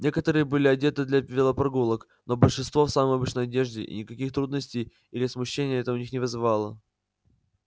некоторые были одеты для велопрогулок но большинство в самой обычной одежде и никаких трудностей или смущений это у них не вызывало